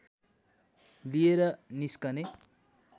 लिएर निस्कने